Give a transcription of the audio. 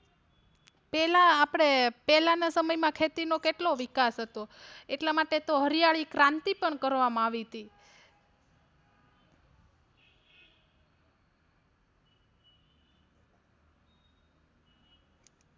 પેલા આપડે પહેલા ના સમય માં ખેતી નો કેટલો વિકાસ હતો એટલા માટે તો હરિયાળી ક્રાંતિ પણ કરવામાં આવી તી